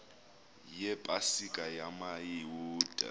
yepa sika yamayuda